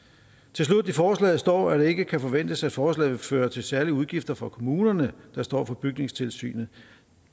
til slut i forslaget står der at det ikke kan forventes at forslaget vil føre til særlige udgifter for kommunerne der står for bygningstilsynet